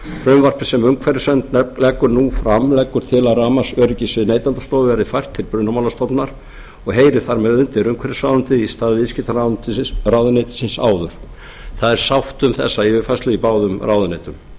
frumvarpið sem umhverfisstofnun leggur fram leggur til að rafmagnsöryggissvið neytendastofu verði fært til brunamálastofnunar og heyrir þar með undir umhverfisráðuneytið í stað viðskiptaráðuneytisins áður það er sátt um þessa yfirfærslu í báðum ráðuneytum